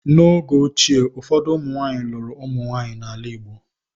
N’oge ochie, ụfọdụ ụmụnwaanyị lụrụ ụmụnwaanyị n’ala Igbo.